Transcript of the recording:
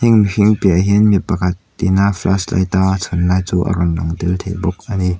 piahah hian mi pakhat ina flash light a a chhun lai chu a rawn lang tel thei bawk ani.